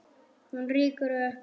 Hún rýkur upp.